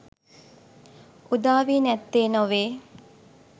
උදා වී නැත්තේ නොවේ